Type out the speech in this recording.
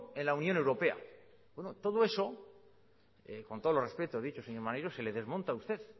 en la unión europea bueno todo eso con todos los respetos dicho señor maneiro se le desmonta a usted